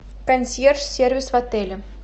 консьерж сервис в отеле